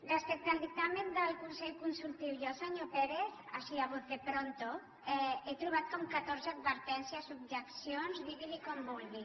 respecte al dictamen del consell consultiu jo senyor pérez así a voz de pronto he trobat com catorze advertències objeccions digui’n com vulgui